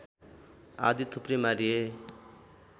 आदि थुप्रै मारिए